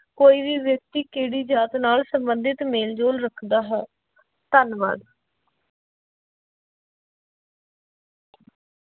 ਕੋਈ ਵੀ ਵਿਅਕਤੀ ਕਿਹੜੀ ਜਾਤ ਨਾਲ ਸੰਬੰਧਿਤ ਮੇਲ ਜੋਲ ਰੱਖਦਾ ਹੈ, ਧੰਨਵਾਦ।